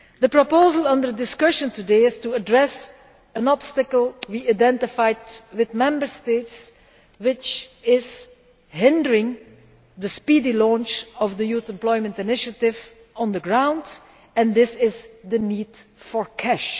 The proposal under discussion today is to address an obstacle we identified with Member States which is hindering the speedy launch of the Youth Employment Initiative on the ground this is the need for cash.